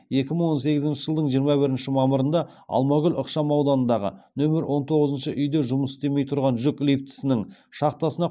екі мың он сегізінші жылдың жиырма біріші мамырында алмагүл ықшам ауданындағы нөмір он тоғызыншы үйде жұмыс істемей тұрған жүк лифтісінің шахтасына